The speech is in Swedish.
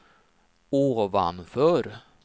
ovanför